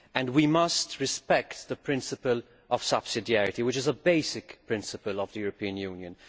We must respect the principle of subsidiarity, which is a basic principle of the European Union.